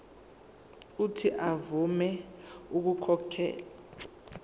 uuthi avume ukukhokhela